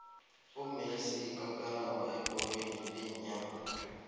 umessie yikakarambha ebholweni leenyawo